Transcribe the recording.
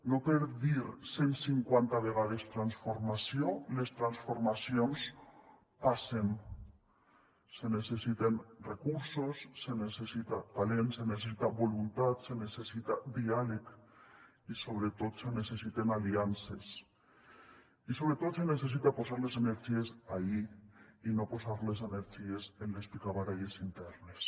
no per dir cent cinquanta vegades transformació les transformacions passen se necessiten recursos se necessita talent se necessita voluntat se necessita diàleg i sobretot se necessiten aliances i sobretot se necessita posar les energies ahí i no posar les energies en les picabaralles internes